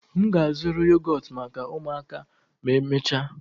M ga-azụrụ yogọtụ maka ụmụaka ma emechaa